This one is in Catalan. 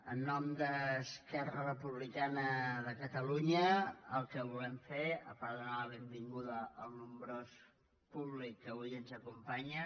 en nom d’esquerra republicana de catalunya el que volem fer a part de donar la benvinguda al nombrós públic que avui ens acompanya